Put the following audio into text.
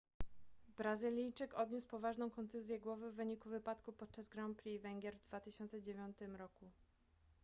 brazylijczyk odniósł poważną kontuzję głowy w wyniku wypadku podczas grand prix węgier w 2009 roku